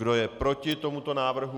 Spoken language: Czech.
Kdo je proti tomuto návrhu?